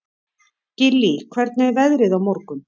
Gillý, hvernig er veðrið á morgun?